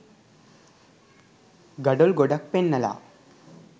ගඩොල් ගොඩක් පෙන්නලා